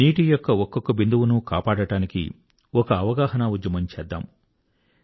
నీటియొక్క ఒక్కొక్క బిందువును కాపాడడానికి ఒక అవగాహనా ఉద్యమం చేద్దాం